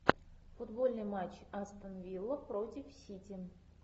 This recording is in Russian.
футбольный матч астон вилла против сити